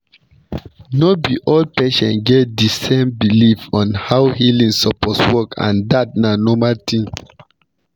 no be all patients get di same belief on how healing suppose work and dat na normal thing